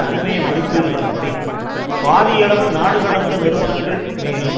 அண்மைய மதிப்பீடுகளின் படி பாதியளவு நாடு கடந்த நிறுவனங்கள் மேலும்